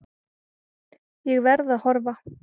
Ég verð að horfa.